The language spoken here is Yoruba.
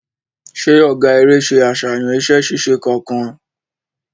Ṣe ọgá eré ṣe aṣayan iṣẹ-ṣiṣe kánkan?